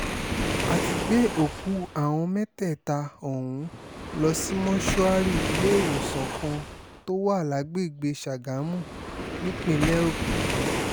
a ti gbé òkú àwọn mẹ́tẹ̀ẹ̀ta ọ̀hún lọ sí mọ́ṣúárì iléèwésàn kan tó wà lágbègbè sagamu nípínlẹ̀ ogun